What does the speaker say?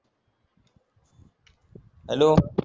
hello